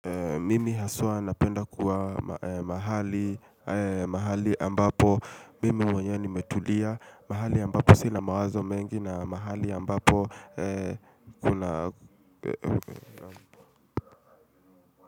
Mimi haswa napenda kuwa mahali mahali ambapo mimi mwenyewe nimetulia. Mahali ambapo sina mawazo mengi na mahali ambapo.